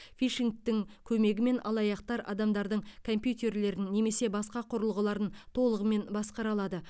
фишингтің көмегімен алаяқтар адамдардың компьютерлерін немесе басқа құрылғыларын толығымен басқара алады